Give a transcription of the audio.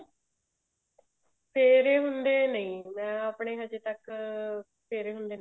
ਫੇਰੇ ਹੁੰਦੇ ਨਹੀਂ ਮੈਂ ਆਪਨੇ ਹਜੇ ਤੱਕ ਫੇਰੇ ਹੁੰਦੇ ਨੇ